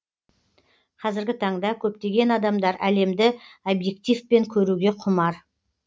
қазіргі таңда көптеген адамдар әлемді объективпен көруге құмар